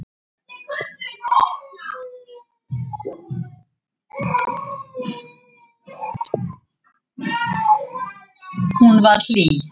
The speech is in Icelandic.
Hún var hlý.